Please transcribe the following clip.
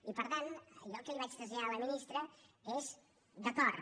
i per tant jo el que li vaig traslladar a la ministra és d’acord